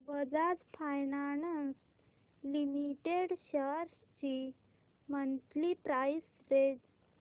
Bajaj finance limited shares ची monthly price range